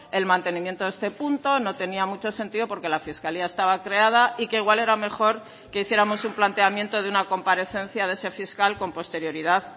el mantenimiento de este punto no tenía mucho sentido porque la fiscalía estaba creada y que igual era mejor que hiciéramos un planteamiento de una comparecencia de ese fiscal con posterioridad